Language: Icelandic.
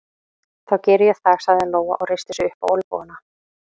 Þá geri ég það, sagði Lóa og reisti sig upp á olnbogana.